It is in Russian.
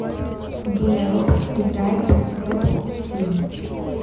джулия робертс играет проститутку фильм